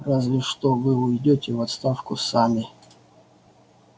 разве что вы уйдёте в отставку сами